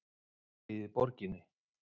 Fylleríið í borginni!